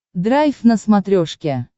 драйв на смотрешке